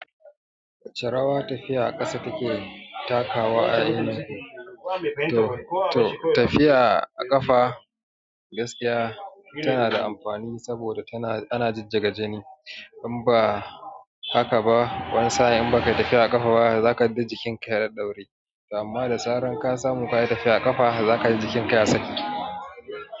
Ce rawa tafiya a ƙasa kake takawa a ini, to tafiya a ƙafa gaskiya tana da amfani saboda tana ana jijjiga jini. In ba haka ba wani sa'in baka yi tafiya a ƙafa ba zakaji jikin ka ya ɗaɗɗaure, amma da zaran ka samu ka yi tafiya a ƙafa zakaji jikin ka ya saki.